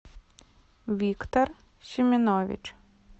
виктор семенович